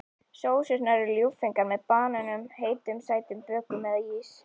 Sósurnar eru ljúffengar með banönum, heitum sætum bökum eða ís.